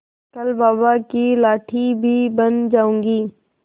कल बाबा की लाठी भी बन जाऊंगी